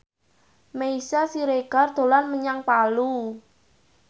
Meisya Siregar dolan menyang Palu